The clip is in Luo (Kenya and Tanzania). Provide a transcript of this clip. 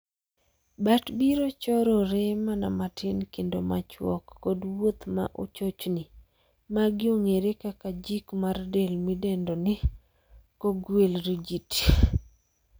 Bat biro chorore mana matin kendo machuok, kod wuoth ma chochni, magi ong'ere kaka jik mar del midendo ni 'cogwheel rigidity' .